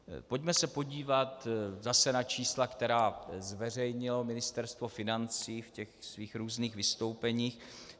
Pojďme se podívat zase na čísla, která zveřejnilo Ministerstvo financí v těch svých různých vystoupeních.